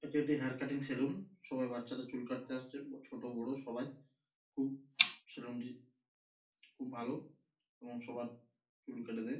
এটি একটি hair cutting salon সবাই বাচ্চা দের চুল কাটতে আসছে ছোট বড়ো সবাই সেলুন টি খুব ভালো এবং সবার চুল কেটে দেয়।